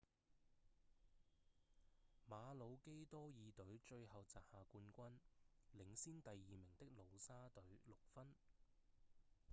馬魯基多爾隊最後摘下冠軍領先第二名的努沙隊六分